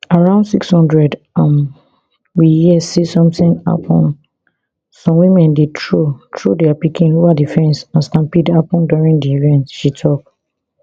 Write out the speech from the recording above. around six hundred am we hear say sometin happun some women dey throw throw dia pikin ova di fence and stampede happun during di event she tok